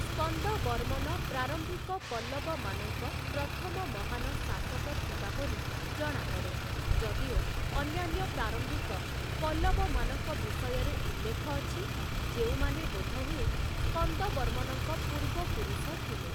ସ୍କନ୍ଦବର୍ମନ ପ୍ରାରମ୍ଭିକ ପଲ୍ଲବମାନଙ୍କ ପ୍ରଥମ ମହାନ ଶାସକ ଥିବା ପରି ଜଣାପଡ଼େ, ଯଦିଓ ଅନ୍ୟାନ୍ୟ ପ୍ରାରମ୍ଭିକ ପଲ୍ଲବମାନଙ୍କ ବିଷୟରେ ଉଲ୍ଲେଖ ଅଛି, ଯେଉଁମାନେ ବୋଧହୁଏ ସ୍କନ୍ଦବର୍ମନଙ୍କ ପୂର୍ବପୁରୁଷ ଥିଲେ ।